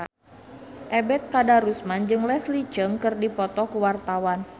Ebet Kadarusman jeung Leslie Cheung keur dipoto ku wartawan